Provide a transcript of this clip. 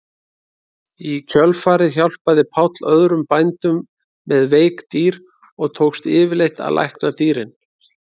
Í kjölfarið hjálpaði Páll öðrum bændum með veik dýr og tókst yfirleitt að lækna dýrin.